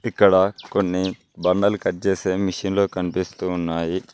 ఇక్కడ కొన్ని బండలు కట్ చేసే మిషిన్లు కనిపిస్తూ ఉన్నాయి